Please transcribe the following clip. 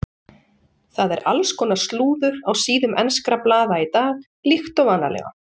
Það er alls konar slúður á síðum enskra blaða í dag líkt og vanalega.